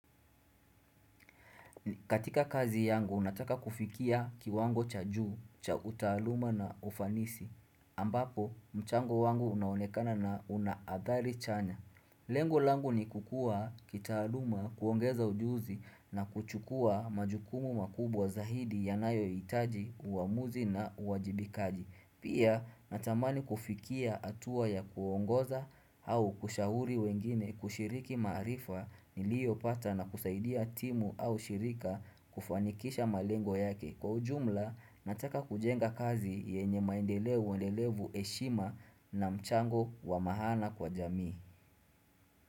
Katika kazi yangu, nataka kufikia kiwango cha juu, cha utaaluma na ufanisi. Ambapo, mchango wangu unaonekana na unaathari chanya. Lengo langu ni kukuwa kitaaluma kuongeza ujuzi na kuchukua majukumu makubwa zaidi ya nayo itaji, uamuzi na uajibikaji. Pia natamani kufikia atua ya kuongoza au kushahuri wengine kushiriki maarifa nilio pata na kusaidia timu au shirika kufanikisha malengo yake. Kwa ujumla nataka kujenga kazi yenye maendeleo uendelevu eshima na mchango wa mahana kwa jami.